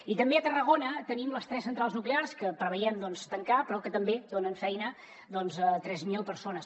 i també a tarragona tenim les tres centrals nuclears que preveiem doncs tancar però que també donen feina a tres mil persones